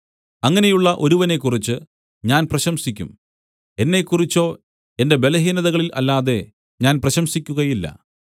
അങ്ങനെയുള്ള ഒരുവനെക്കുറിച്ച് ഞാൻ പ്രശംസിക്കും എന്നെക്കുറിച്ചോ എന്റെ ബലഹീനതകളിൽ അല്ലാതെ ഞാൻ പ്രശംസിക്കുകയില്ല